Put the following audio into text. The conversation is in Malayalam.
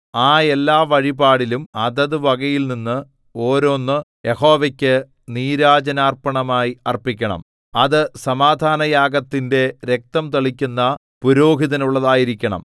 ആ എല്ലാവഴിപാടിലും അതത് വകയിൽനിന്ന് ഒരോന്ന് യഹോവയ്ക്ക് നീരാജനാർപ്പണമായി അർപ്പിക്കണം അത് സമാധാനയാഗത്തിന്റെ രക്തം തളിക്കുന്ന പുരോഹിതനുള്ളതായിരിക്കണം